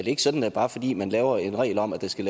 ikke sådan at bare fordi man laver en regel om at der skal